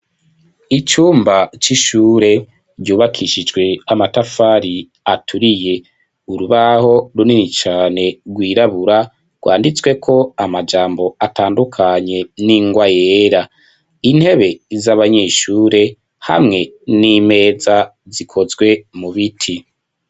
Icumba c'ishure, ryubakishijwe, amatafari aturiye; urubaho, runini cane, rwirabura, rwanditsweko amajambo, atandukanye, n'ingwa yera; intebe z'abanyeshure, hamwe n'imeza, zikozwe mu biti.